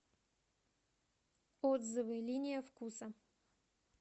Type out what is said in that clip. отзывы линия вкуса